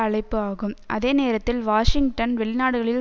அழைப்பு ஆகும் அதே நேரத்தில் வாஷிங்டன் வெளிநாடுகளில்